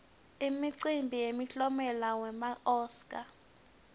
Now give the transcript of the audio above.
imicimbi yemiklomelo wema oscar